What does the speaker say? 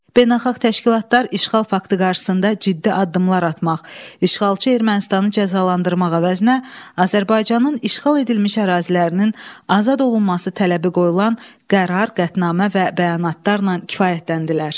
Beynəlxalq təşkilatlar işğal faktı qarşısında ciddi addımlar atmaq, işğalçı Ermənistanı cəzalandırmaq əvəzinə Azərbaycanın işğal edilmiş ərazilərinin azad olunması tələbi qoyulan qərar, qətnamə və bəyanatlarla kifayətləndilər.